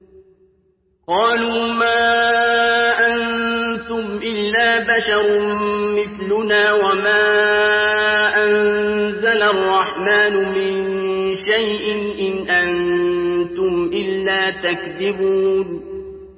قَالُوا مَا أَنتُمْ إِلَّا بَشَرٌ مِّثْلُنَا وَمَا أَنزَلَ الرَّحْمَٰنُ مِن شَيْءٍ إِنْ أَنتُمْ إِلَّا تَكْذِبُونَ